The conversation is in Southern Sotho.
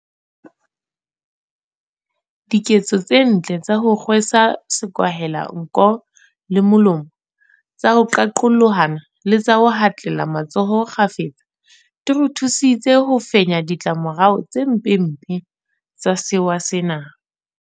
Diketso tse ntle tsa ho kgwe sa sekwahelanko le molomo, tsa ho qaqolohana le tsa ho hatlela matsoho kgafetsa di re thusitse ho fenya ditla morao tse mpempe tsa sewa sena.